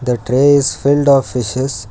the tray is filled of fishes